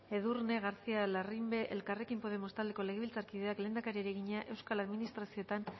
edurne garcía larrimbe elkarrekin podemos taldeko legebiltzarkideak lehendakariari egina euskal administrazioetan